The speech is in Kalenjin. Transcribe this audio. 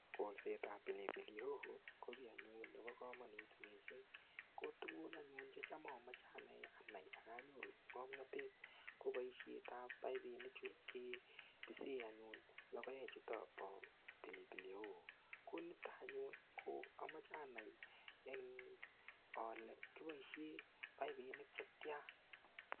Kolsetab pilipili hoho ko kiy anyun nebo kamanut mising kotugun anyun che cham amache ane anai ak anyoru ngamnatet ko boisietab paipinichu ketisei anyun logoek chutobo pilipili hoho. Konito anyun ko amache anai eng, ale kiboisien paipinik che tia.